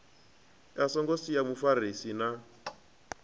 a songo sia mufarisi na